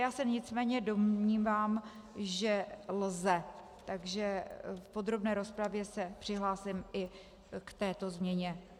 Já se nicméně domnívám, že lze, takže v podrobné rozpravě se přihlásím i k této změně.